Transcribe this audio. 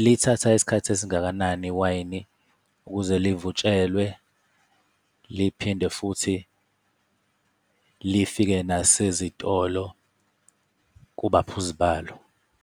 lithatha isikhathi esingakanani iwayini ukuze livutshelwe liphinde futhi lifike nasezitolo kubaphuzi balo.